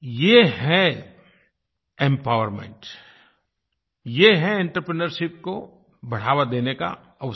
ये है एम्पावरमेंट ये है आंत्रप्रिन्योरशिप को बढ़ावा देने का अवसर